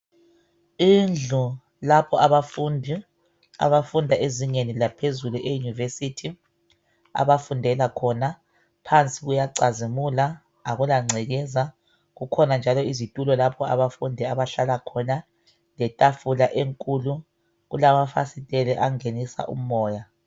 Indlu lapho abafundi abafunda ezingeni laphezulu iuniversity abafundela khona phansi kuyacazimula akula ngcekeza kukhona njalo izitulo lapho abafundi abahlala khona letafula enkulu kulamafasiteli angenisa umoya.